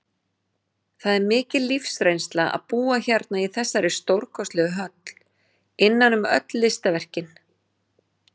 Það er mikil lífsreynsla að búa hérna í þessari stórkostlegu höll, innan um öll listaverkin.